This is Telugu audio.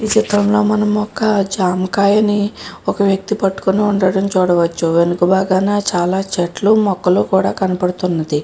ఈ చిత్రంలో మనం ఒక జామకాయని ఒక వ్యక్తి పట్టుకున్నట్టుగాను చూడవచ్చు. వెనుక వైపున చాలా చెట్లు మొక్కలు కూడా కనబడుతున్నది.